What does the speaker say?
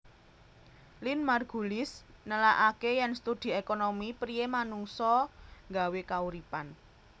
Lynn Margulis nelakaké yèn studi ékonomi priyé manungsa nggawé kauripan